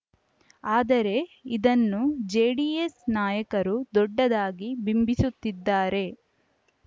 ಆದರೆ ಇದನ್ನು ಜೆಡಿಎಸ್‌ ನಾಯಕರು ದೊಡ್ಡದಾಗಿ ಬಿಂಬಿಸುತ್ತಿದ್ದಾರೆ